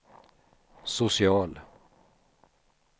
social